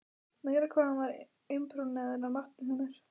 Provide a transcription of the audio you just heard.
Meira hvað hann var impóneraður af matnum hjá mér.